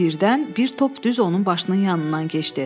Birdən bir top düz onun başının yanından keçdi.